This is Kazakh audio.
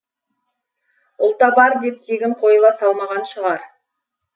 ұлтабар деп тегін қойыла салмаған шығар